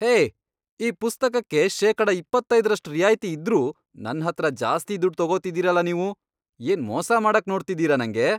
ಹೇಯ್! ಈ ಪುಸ್ತಕಕ್ಕೆ ಶೇಕಡ ಇಪ್ಪತ್ತೈದ್ರಷ್ಟ್ ರಿಯಾಯ್ತಿ ಇದ್ರೂ ನನ್ಹತ್ರ ಜಾಸ್ತಿ ದುಡ್ಡ್ ತೊಗೋತಿದೀರಲ ನೀವು. ಏನ್ ಮೋಸ ಮಾಡಕ್ ನೋಡ್ತಿದೀರ ನಂಗೆ?